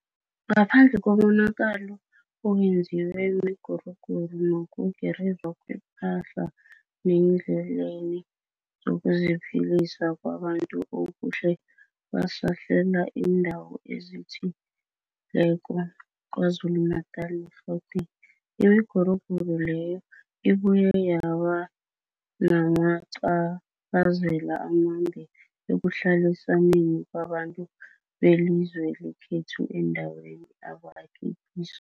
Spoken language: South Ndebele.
Ngaphandle komonakalo owenziwe miguruguru nokugirizwa kwepahla neendleleni zokuziphilisa kwabantu okukhe kwasahlela iindawo ezithi leko zaKwaZulu-Natala ne-Gauteng, imiguruguru leyo ibuye yabanamaca phazela amambi ekuhlalisaneni kwabantu belizwe lekhethu eendaweni abakhe kizo.